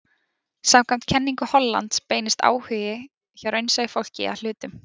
Samkvæmt kenningu Hollands beinist áhugi hjá raunsæju fólki að hlutum.